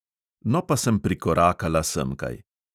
No, pa sem prikorakala semkaj.